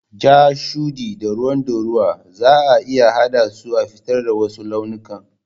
Ja, shuɗi da ruwan ɗorawa zaa iya haɗa su a fitar da wasu launikan.